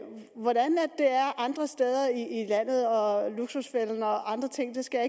andre steder i landet og i luksusfælden og andre ting skal